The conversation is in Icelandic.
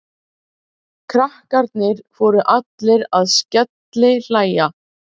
Krakkarnir fóru allir að skellihlæja.